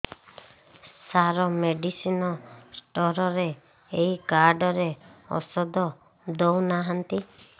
ସାର medicine store ରେ ଏଇ card ରେ ଔଷଧ ଦଉନାହାନ୍ତି